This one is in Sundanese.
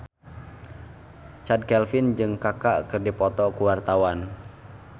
Chand Kelvin jeung Kaka keur dipoto ku wartawan